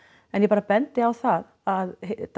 en ég bara bendi á það að